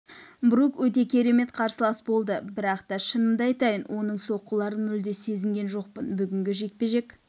брук өте керемет қарсылас болды бірақ та шынымды айтайын оның соққыларын мүлде сезген жоқпын бүгінгі жекпе-жек